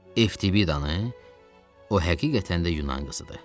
FTV danı, o həqiqətən də Yunan qızıdır.